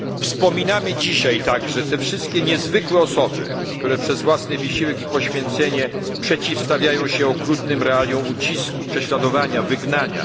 Wspominamy dzisiaj także te wszystkie niezwykłe osoby, które przez własny wysiłek i poświęcenie przeciwstawiają się okrutnym realiom ucisku, prześladowania, wygnania.